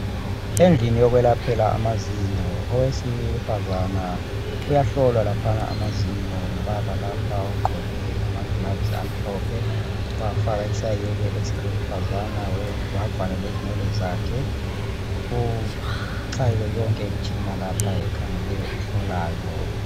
Endlini yokwelaphela amazinyo, owesifazane uyahlolwa laphana amazinyo ngubaba lapha ogqoke ama gloves amhlophe, wafaka isayeke esiluhlazana wavala lezinwele zakhe. Kuchayiwe yonke imtshina lapha ekhangeleyo ehlolayo.